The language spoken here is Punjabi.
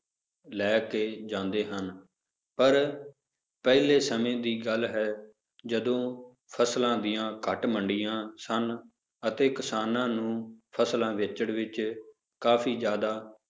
ਲੈ ਕੇ ਜਾਂਦੇ ਹਨ, ਪਰ ਪਹਿਲੇ ਸਮੇਂ ਦੀ ਗੱਲ ਹੈ ਜਦੋਂ ਫਸਲਾਂ ਦੀਆਂ ਘੱਟ ਮੰਡੀਆਂ ਸਨ ਅਤੇ ਕਿਸਾਨਾਂ ਨੂੰ ਫਸਲਾਂ ਵੇਚਣ ਵਿੱਚ ਕਾਫ਼ੀ ਜ਼ਿਆਦਾ